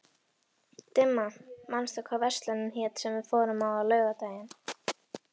Dimma, manstu hvað verslunin hét sem við fórum í á laugardaginn?